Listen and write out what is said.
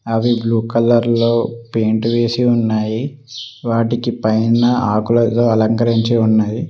అవి బ్లూ కలర్లో పెయింట్ వేసి ఉన్నాయి వాటికి పైన ఆకులతో అలంకరించి ఉన్నవి.